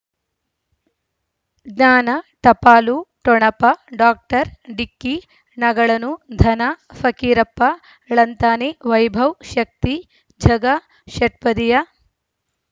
ಜ್ಞಾನ ಟಪಾಲು ಠೊಣಪ ಡಾಕ್ಟರ್ ಢಿಕ್ಕಿ ಣಗಳನು ಧನ ಫಕೀರಪ್ಪ ಳಂತಾನೆ ವೈಭವ್ ಶಕ್ತಿ ಝಗಾ ಷಟ್ಪದಿಯ